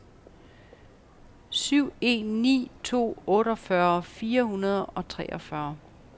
syv en ni to otteogfyrre fire hundrede og treogfyrre